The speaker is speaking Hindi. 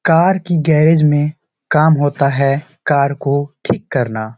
कार की गैरेज में काम होता है कार को ठीक करना।